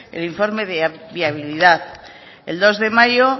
el informe de viabilidad el dos de mayo